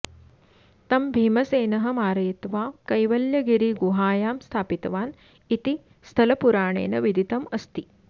तं भीमसेनः मारयित्वा कैवल्यगिरिगुहायां स्थापितवान् इति स्थलपुराणेन विदितम् अस्ति